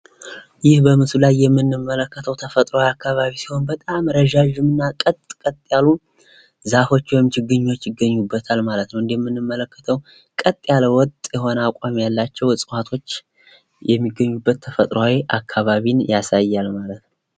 ይህ በምሶሉ ላይ የምንመለከተው ተፈጥሯዊ አካባቢ ሲሆን በጣም ረጃጅምና ቀጥቀጥ ያሉ ዛፎች ወይም ችግኞች ይገኙበታል ማለት ነው እንደምንመለከተው ቀጥ ያለ ወጥ ያለ አቋም ያላቸው እፅዋቶች የሚገኙበት ተፈጥሯዊ አካባቢን ያሳያል ማለት ነው።